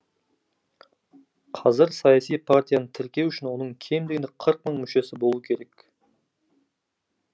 қазір саяси партияны тіркеу үшін оның кем дегенде қырық мың мүшесі болуы керек